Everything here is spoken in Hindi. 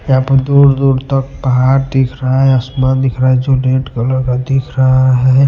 यहां पर दूर-दूर तक पहाड़ दिख रहा है आसमान दिख रहा है जो रेड कलर का दिख रहा है।